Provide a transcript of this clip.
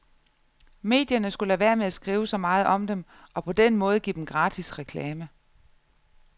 Medierne skulle lade være med at skrive så meget om dem og på den måde give dem gratis reklame.